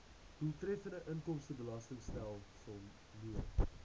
doeltreffende inkomstebelastingstelsel mee